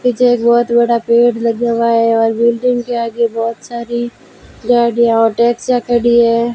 पीछे एक बहोत बड़ा पेड़ लगा हुआ है और बिल्डिंग के आगे बहोत सारी गाड़ियां और टैक्सियां खड़ी है।